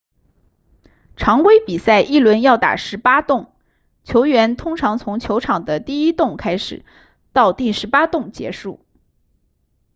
常规比赛一轮要打十八洞球员通常从球场的第一洞开始到第十八洞结束